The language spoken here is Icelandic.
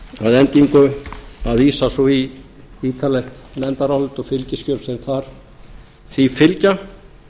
að endingu að vísa svo í ítarlegt nefndarálit og fylgiskjöl sem því fylgja